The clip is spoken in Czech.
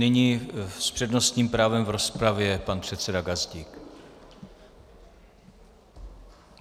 Nyní s přednostním právem v rozpravě pan předseda Gazdík.